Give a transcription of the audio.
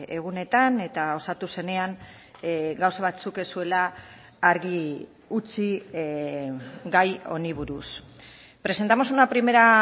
egunetan eta osatu zenean gauza batzuk ez zuela argi utzi gai honi buruz presentamos una primera